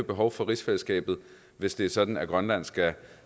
behov for rigsfællesskabet hvis det er sådan at grønland skal